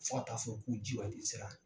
Fo ka taa fɔ k'u ji wati sera.